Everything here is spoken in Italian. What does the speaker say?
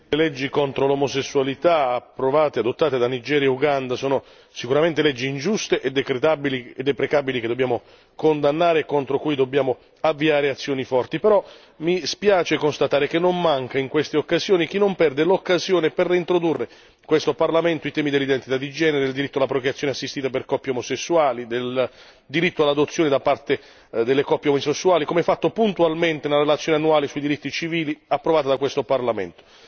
Signor Presidente, onorevoli colleghi, le leggi contro l'omosessualità approvate e adottate da Nigeria e Uganda sono sicuramente leggi ingiuste e deprecabili che dobbiamo condannare, contro cui dobbiamo avviare azioni forti. Però, mi spiace constatare che non manca in queste occasioni chi non perde l'occasione per reintrodurre in questo Parlamento i temi dell'identità di genere, il diritto alla procreazione assistita per coppie omosessuali, il diritto all'adozione da parte delle coppie omosessuali, come fatto puntualmente nella relazione annuale sui diritti civili approvata da questo Parlamento.